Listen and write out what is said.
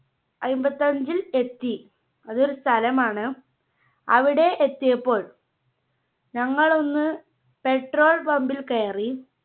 അയ്മ്പത്തഞ്ചിൽ എത്തി അത് ഒരു സ്ഥലമാണ് അവിടെ എത്തിയപ്പോൾ ഞങ്ങളൊന്ന് Petrol Pumb ൽ കയറി.